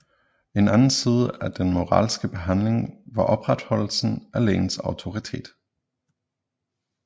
En anden side af den moralske behandling var opretholdelsen af lægens autoritet